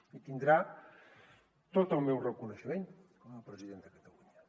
i tindrà tot el meu reconeixement com a president de catalunya